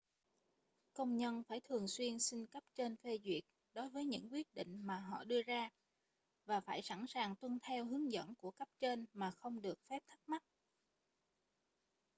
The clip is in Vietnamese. công nhân phải thường xuyên xin cấp trên phê duyệt đối với những quyết định mà họ đưa ra và phải sẵn sàng tuân theo hướng dẫn của cấp trên mà không được phép thắc mắc